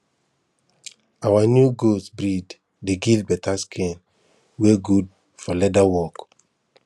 our new goat breed dey give better skin wey good for leather work